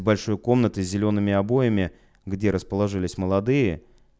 большой комнаты с зелёными обоями где расположились молодые